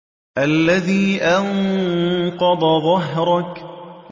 الَّذِي أَنقَضَ ظَهْرَكَ